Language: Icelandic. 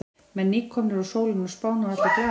Menn nýkomnir úr sólinni á Spáni og allir glaðir.